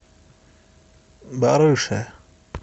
барыше